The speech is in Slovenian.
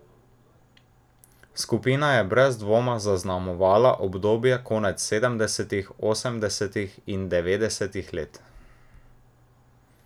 Skupina je brez dvoma zaznamovala obdobje konec sedemdesetih, osemdesetih in devetdesetih let.